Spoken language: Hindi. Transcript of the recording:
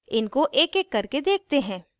इनको एकएक करके देखते हैं